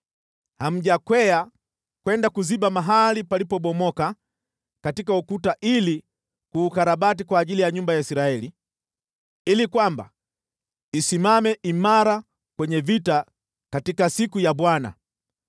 Hamjakwea kwenda kuziba mahali palipobomoka katika ukuta ili kuukarabati kwa ajili ya nyumba ya Israeli, ili kwamba isimame imara kwenye vita katika siku ya Bwana .